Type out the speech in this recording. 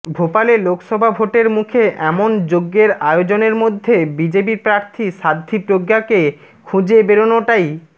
ভোপালে লোকসভা ভোটের মুখে এমন যজ্ঞের আয়োজনের মধ্যে বিজেপি প্রার্থী সাধ্বী প্রজ্ঞাকে খুঁজে বেরনোটাই